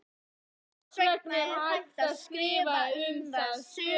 Þess vegna er hægt að skrifa um það sögur.